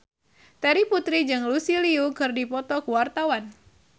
Terry Putri jeung Lucy Liu keur dipoto ku wartawan